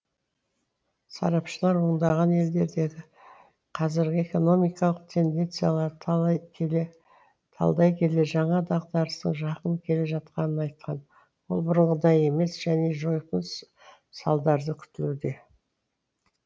сарапшылар ондаған елдердегі қазіргі экономикалық тенденцияларды талдай келе жаңа дағдарыстың жақын келе жатқанын айтқан ол бұрынғыдай емес және жойқын салдары күтілуде